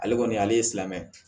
Ale kɔni ale ye silamɛ